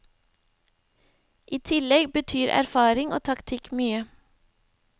I tillegg betyr erfaring og taktikk mye.